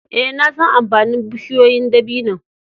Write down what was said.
Eh, na san amfanin bushiyoyin dabino'n.